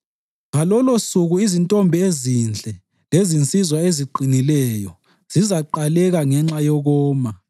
Ngalolosuku izintombi ezinhle lezinsizwa eziqinileyo zizaqaleka ngenxa yokoma.